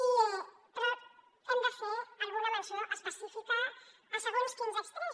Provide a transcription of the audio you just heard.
però hem de fer alguna menció específica a segons quins extrems